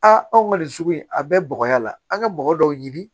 Aa anw ka nin sugu in a bɛɛ bɔgɔya la an ka bɔgɔ dɔw ɲini